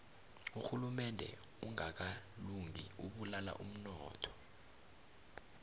urhulumende ongakalungi ubulala umnotho